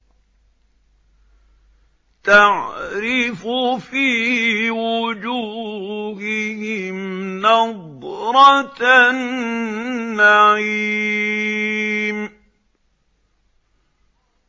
تَعْرِفُ فِي وُجُوهِهِمْ نَضْرَةَ النَّعِيمِ